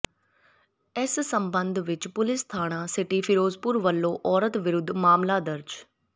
ਇਸ ਸਬੰਧ ਵਿਚ ਪੁਲਿਸ ਥਾਣਾ ਸਿਟੀ ਫਿਰੋਜ਼ਪੁਰ ਵੱਲੋਂ ਔਰਤ ਵਿਰੁੱਧ ਮਾਮਲਾ ਦਰਜ